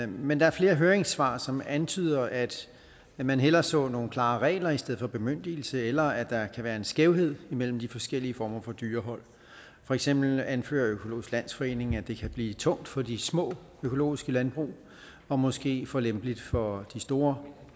men der er flere høringssvar som antyder at man hellere så nogle klare regler i stedet for bemyndigelse eller at der kan være en skævhed imellem de forskellige former for dyrehold for eksempel anfører økologisk landsforening at det kan blive tungt for de små økologiske landbrug og måske for lempeligt for de store